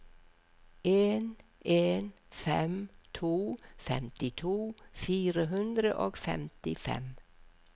en en fem to femtito fire hundre og femtifem